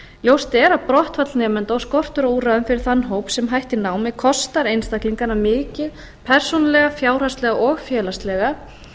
ljóst er að brottfall nemenda og skortur á úrræðum fyrir þann hóp sem hættir námi kostar einstaklingana mikið persónulega fjárhagslega og félagslega